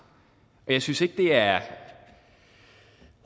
og jeg synes ikke det er